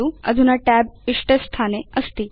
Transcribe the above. अधुना tab इष्टे स्थाने अस्ति